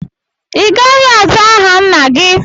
Ị gaghị azá aha nna gị!